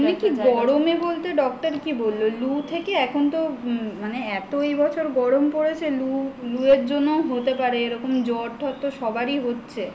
এমনি কি গরম এ বলতে doctor কি বলল লু থেকে এখন তো মানে এত এবছর গরম পড়েছে লু এর জন্য হতে পারে এরকম জ্বরটর তো সবারই হচ্ছে